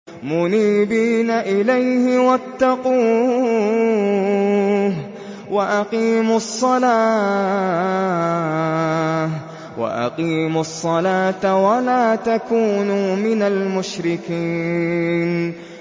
۞ مُنِيبِينَ إِلَيْهِ وَاتَّقُوهُ وَأَقِيمُوا الصَّلَاةَ وَلَا تَكُونُوا مِنَ الْمُشْرِكِينَ